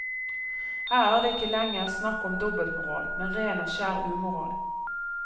Her er det ikke lenger snakk om dobbeltmoral, men ren og skjær umoral.